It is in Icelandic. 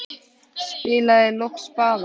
Spilaði loks spaða.